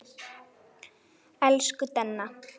Elsku Denna.